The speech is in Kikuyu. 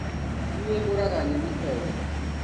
Nĩi ngũraga nyeni o wiki.